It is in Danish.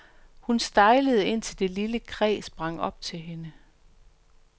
Hun stejlede, indtil det lille kræ sprang op til hende.